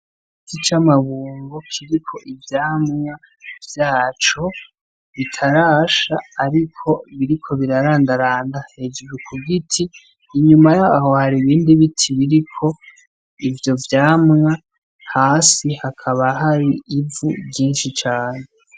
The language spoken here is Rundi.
Igiti c'amabungo kiriko ivyamwa vyaco bitarasha, ariko biriko birarandaranda hejuru kugiti, inyuma yaho hari ibindi biti biriko ivyo vyamwa hasi hakaba hari ivu ryinshi cane.